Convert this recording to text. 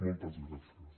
moltes gràcies